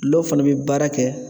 Dulɔ fana bɛ baara kɛ